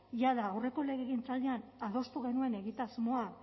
jada aurreko legegintzaldian adostu genuen egitasmoa